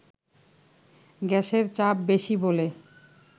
গ্যাসের চাপ বেশি বলে